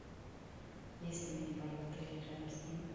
есть ли мини бар в отеле рядом с ним